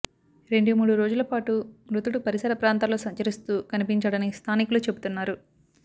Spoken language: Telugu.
రెండు మూడు రోజులపాటు మృతుడు పరిసర ప్రాంతాల్లో సంచరిస్తూ కనిపించాడని స్థానికులు చెబుతున్నారు